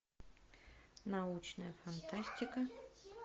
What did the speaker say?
научная фантастика